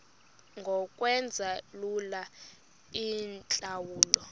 ngokwenza lula iintlawulo